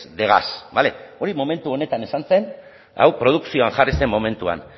de gas bale hori momentu honetan esan zen hau produkzioan jarri zen momentuan